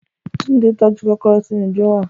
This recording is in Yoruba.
Tunde tọ́jú kòkòrò sínú dùrọ́á